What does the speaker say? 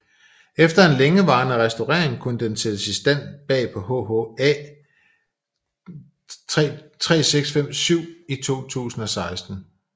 Efter en længerevarende restaurering kunne den sættes i drift bag på HHA 3657 i 2016